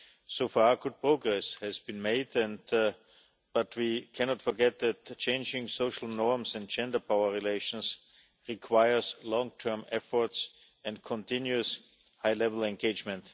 So far, good progress has been made, but we cannot forget that changing social norms and gender power relations require long term efforts and continuous high level engagement.